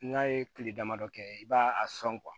N'a ye kile damadɔ kɛ i b'a a sɔn